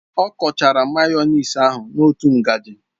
O kuchara mayonasị ahu n'otu ngaji